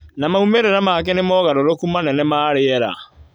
na maumĩrĩra make nĩ mogarũrũku manene ma rĩera.